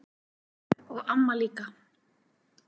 Og amma líka.